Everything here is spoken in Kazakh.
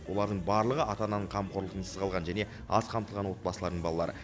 олардың барлығы ата ананың қамқорлығынсыз қалған және аз қамтылған отбасылардың балалары